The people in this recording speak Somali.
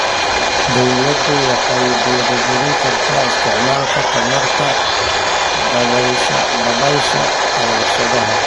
Dawladdu waxay dhiirigelin kartaa isticmaalka tamarta dabaysha ee warshadaha.